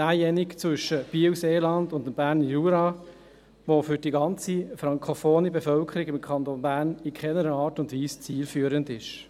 Derjenige zwischen Biel-Seeland und dem Berner Jura, der für die ganze frankophone Bevölkerung im Kanton Bern in keiner Art und Weise zielführend ist.